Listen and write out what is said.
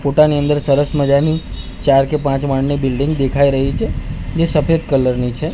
ફોટા ની અંદર સરસ મજાની ચાર કે પાંચ માળની બિલ્ડીંગ દેખાય રહી છે જે સફેદ કલર ની છે.